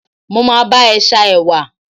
mo ma ba e sa ewa